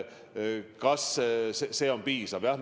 Kas see summa on piisav?